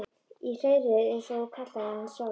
Í hreiðrið eins og þú kallaðir hana sjálf.